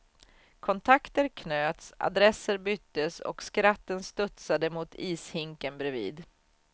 Kontakter knöts, adresser byttes och skratten studsade mot ishinken bredvid.